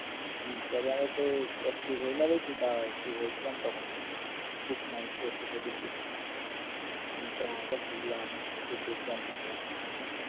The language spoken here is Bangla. ইন্সটাগ্রাম এ তো active হই না বেশি তাও active হয়েছিলাম তখন book my show থেকে দেখেছিলাম ইন্সটাগ্রামটা খুললাম একটু দেখলাম আমি ভুলতে পারছি না দেখলাম টিকলাম ।